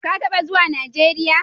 Ka taba zuwa Najeriya?